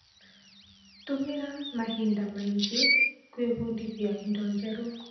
Tũmĩra mahinda mangĩ gwĩbundithia indo njerũ.